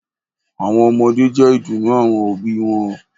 àwọn ọmọdé jẹ́ ìdùnnú àwọn òbí wọn